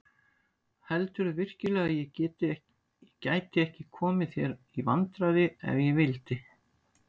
Heldurðu virkilega að ég gæti ekki komið þér í vandræði ef ég vildi?